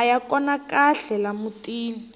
aya kona kahle la mutini